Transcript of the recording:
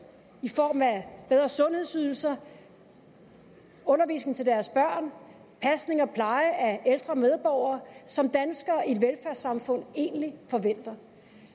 i form af bedre sundhedsydelser undervisning til deres børn pasning og pleje af ældre medborgere som danskere i et velfærdssamfund egentlig forventer